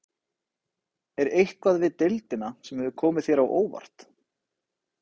Er eitthvað við deildina sem hefur komið þér á óvart?